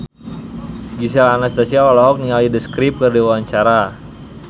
Gisel Anastasia olohok ningali The Script keur diwawancara